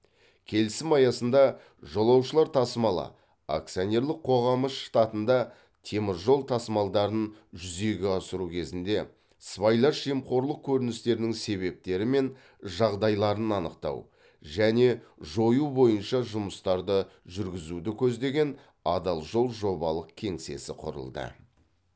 келісім аясында жолаушылар тасымалы акционерлік қоғамы штатында темір жол тасымалдарын жүзеге асыру кезінде сыбайлас жемқорлық көріністерінің себептері мен жағдайларын анықтау және жою бойынша жұмыстарды жүргізуді көздеген адал жол жобалық кеңсесі құрылды